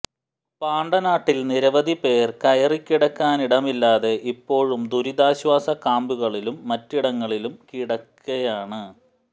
പാണ്ടനാട്ടിൽ നിരവധി പേർ കേറിക്കിടക്കാനിടമില്ലാതെ ഇപ്പോഴും ദുരിതാശ്വാസ ക്യാമ്പുകളിലും മറ്റിടങ്ങളിലും കിടക്കയാണ്